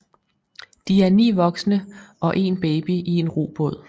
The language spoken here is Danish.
De er ni voksne og en baby i en robåd